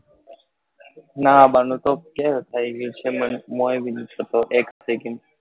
નાં બા નું તો કયારે થયું ગયું છે month માં એક second